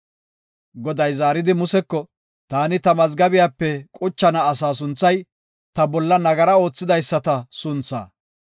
Goday zaaridi Museko, “Taani ta mazgabiyape quchana asaa sunthay, ta bolla nagara oothidaysata sunthaa.